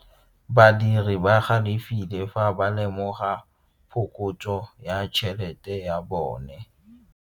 Badiri ba galefile fa ba lemoga phokotso ya tšhelete ya bone.